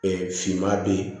finman bɛ ye